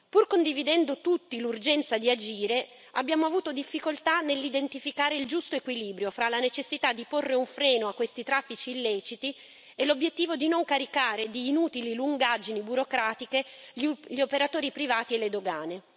Pur condividendo tutti l'urgenza di agire, abbiamo avuto difficoltà nell'identificare il giusto equilibrio fra la necessità di porre un freno a questi traffici illeciti e l'obiettivo di non caricare di inutili lungaggini burocratiche gli operatori privati e le dogane.